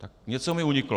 Tak něco mi uniklo.